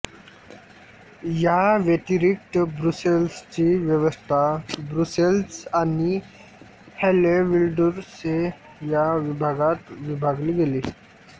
याव्यतिरिक्त ब्रुसेल्सची व्यवस्था ब्रुसेल्स आणि हॅलेविल्वुर्डे या विभागात विभागली गेली